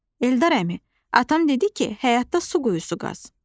Eldar əmi, atam dedi ki, həyatda su quyusu qaz.